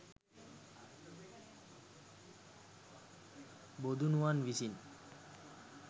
බොදුනුවන් විසින්